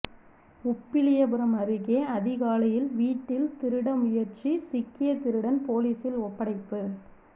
உப்பிலியபுரம் அருகே அதிகாலையில் வீட்டில் திருட முயற்சி சிக்கிய திருடன் போலீசில் ஒப்படைப்பு